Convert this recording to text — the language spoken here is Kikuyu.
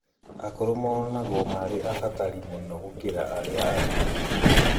Akũrũ monagwo marĩ abatari mũno gũkĩra arĩa angĩ